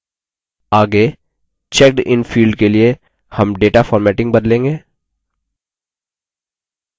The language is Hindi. आगे checked इन field के लिए हम data formatting बदलेंगे